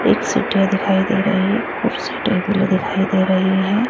एक सीढ़ियां दिखाई दे रही है कुर्सी टेबल दिखाई दे रही हैं।